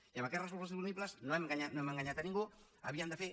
i amb aquests recursos disponibles no hem enganyat a ningú havíem de fer